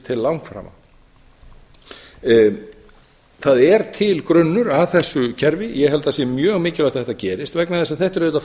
til langframa það er til grunnur að þessu kerfi ég held að þetta sé mjög mikilvægt að þetta gerist vegna þess að þetta er auðvitað